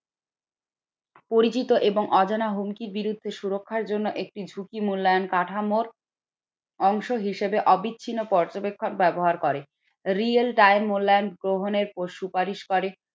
পরিচিত এবং অজানা হুমকি বিরুদ্ধে সুরক্ষার জন্য একটি ঝুঁকি মূল্যায়ন কাঠামোর অংশ হিসেবে অবিচ্ছিন্ন পর্যবেক্ষণ ব্যবহার করে real time মূল্যায়ন গ্রহণের সুপারিশ করে।